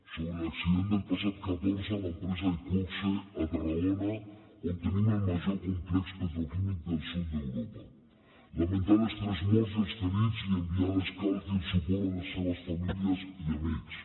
sobre l’accident del passat catorze a l’empresa iqoxe a tarragona on tenim el major complex petroquímic del sud d’europa lamentar les tres morts i els ferits i enviar l’escalf i el suport a les seves famílies i amics